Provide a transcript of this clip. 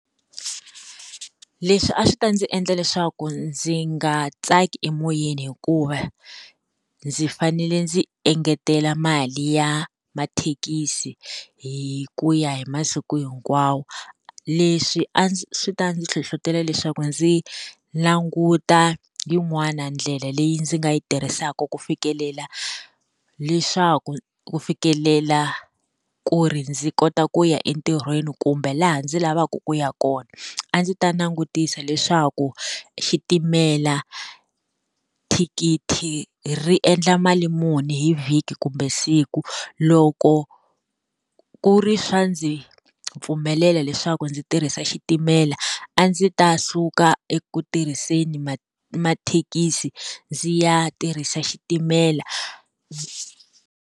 Leswi a swi ta ndzi endla leswaku ndzi nga tsaki emoyeni hikuva, ndzi fanele ndzi engetela mali ya mathekisi hi ku ya hi masiku hinkwawo. Leswi a swi ta ndzi hlohletela leswaku ndzi languta yin'wani ndlela leyi ndzi nga yi tirhisaka ku fikelela, leswaku ku fikelela ku ri ndzi kota ku ya entirhweni kumbe laha ndzi lavaka ku ya kona. A ndzi ta langutisa leswaku, xitimela, thikithi ri endla mali muni hi vhiki kumbe siku. Loko ku ri swa ndzi pfumelela leswaku ndzi tirhisa xitimela, a ndzi ta suka eku tirhiseni mathekisi ndzi ya tirhisa xitimela.